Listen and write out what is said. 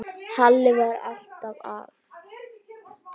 Halli var alltaf að.